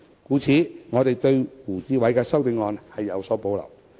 故此，我們對胡志偉議員的修正案有所保留。